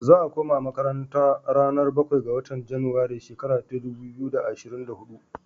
Za'a kuma makaranta ranar bakwai ga watan junairu shekara ta dubu biyu da ashirin da huɗu.